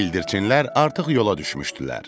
Bildirçinlər artıq yola düşmüşdülər.